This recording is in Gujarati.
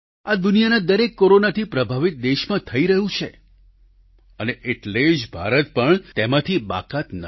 આ દુનિયાના દરેક કોરોનાથી પ્રભાવિત દેશમાં થઈ રહ્યું છે અને એટલે જ ભારત પણ તેમાંથી બાકાત નથી